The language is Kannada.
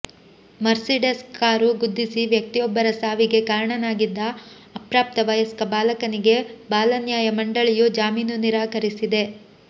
ಮರ್ಸಿಡೆಸ್ ಕಾರು ಗುದ್ದಿಸಿ ವ್ಯಕ್ತಿಯೊಬ್ಬರ ಸಾವಿಗೆ ಕಾರಣನಾಗಿದ್ದ ಅಪ್ರಾಪ್ತ ವಯಸ್ಕ ಬಾಲಕನಿಗೆ ಬಾಲನ್ಯಾಯ ಮಂಡಳಿಯು ಜಾಮೀನು ನಿರಾಕರಿಸಿದೆ